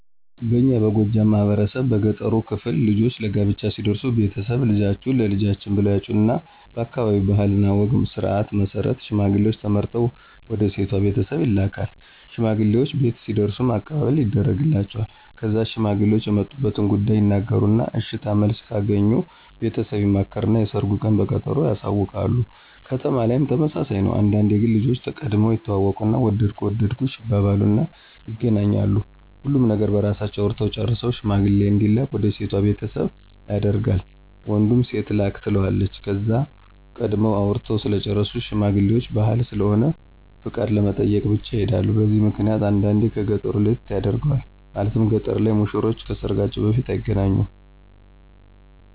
በእኛ በጎጃም ማህበረሰብ በገጠሩ ክፍል ልጆች ለጋብቻ ሲደርሱ ቤተሰብ፣ ልጃችሁን ለልጃችን ብለው ያጩና በአካባቢው ባህል ወግና ስርዓት መሰረት ሽማግሌውች ተመርጠው ወደ ሴቷ ቤተሰብ ይላካል። ሽማግሌውች ቤት ሲደርሱም አቀባበል ይደርግላቸዋል። ከዛ ሽማግሌውች የመጡበትን ጉዳይ ይናገሩና የእሽታ መልስ ከአገኙ ቤተሰብ ይማከርና የሰርጉን ቀን በቀጠሮ ያሳውቃሉ። ከተማ ላይም ተመሳሳይ ነው። አንዳንዴ ግን ልጆች ቀድመው ይተዋወቁና ወደድኩህ ወደድኩሽ ይባባሉና ይገናኛሉ። ሁሉን ነገር በራሳቸው አውርተው ጨርሰው ሽማግሌ እንዲላክ ወደ ሴቷ ቤተሰብ ያደርጋል ወንዱ ሴቷም ላክ ትለዋለች። ከዛም ቀድመው አውርተው ስለጨረሱ ሽማግሌውች ባህል ስለሆነ ፍቃድ ለመጠየቅ ብቻ ይሔዳሉ። በዚህ ምክንያት አንዳንዴ ከ ገጠሩ ለየት ያደርገዋል። ማለትም ገጠር ላይ ሙሽሮች ከሰርጋቸው በፊት አይገናኙም።